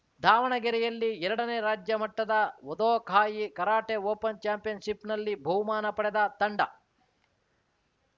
ದಾವಣಗೆರೆಯಲ್ಲಿ ಎರಡನೇ ರಾಜ್ಯ ಮಟ್ಟದ ವದೋಕಾಯಿ ಕರಾಟೆ ಓಪನ್‌ ಚಾಂಪಿಯನ್‌ಶಿಪ್‌ನಲ್ಲಿ ಬಹುಮಾನ ಪಡೆದ ತಂಡ